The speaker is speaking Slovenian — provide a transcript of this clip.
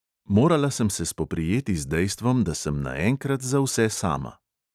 Morala sem se spoprijeti z dejstvom, da sem naenkrat za vse sama.